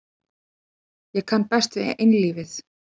Ég kann best við einlífið.